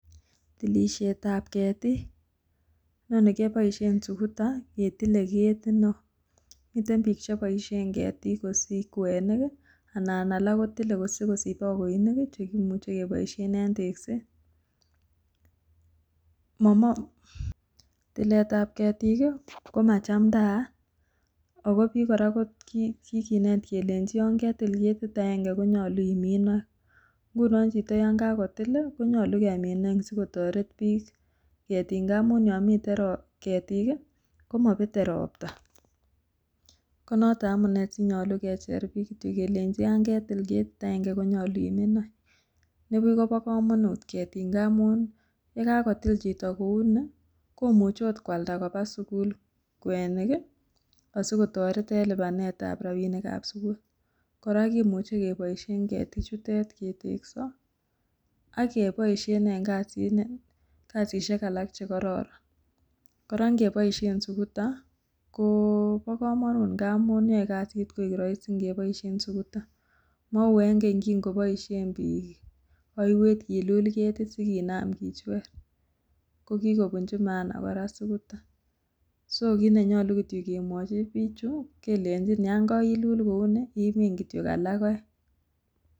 Tilisiet ab ketik ,yaani keboishien sukuta ketile ketit neo, miten biik cheboisien ketit kosich kwenik i anan alak kotile sikosich bogoinik chekimuche keboisien en tekset, tilet ab ketik komachamdaat, ako biik kora ko kikinet kole yon ketil ketit agange konyolu imin oeng',ng;unon chito yan kakotil i konyolu kemin oeng sikotoret biik ketik ng'amun yomiten krtik i komobete robta, konoton amune sinyolu kecher biik kityo kelenji yan ketil ketit agenge konyolu imin oeng, nibuch kobokomonut ketik ng;amun yakakotil chito kouni komuche agot kwalda koba sugul kwenik, asikotoret en lipanet ab rabinik ab sugul, kora kimuche keboishen ketichutet ketekso ak keboisien en kasisiek alak chekororon, kora ingeboisien sukuta ko mo komonut amun yoe kasit koik roisi, mou en keny yeging'oboishien biik oiwet kolul ketit sikinam kichwer, kokikobunji mahana kora suguta, so kineyoche kityo kemwoji bichu kelenjin yon karilul kouni imin kityo alak oeng.